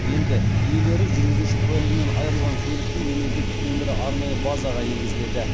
енді иелері жүргізуші куәлігінен айырылған көліктің мемлекеттік нөмірі арнайы базаға енгізіледі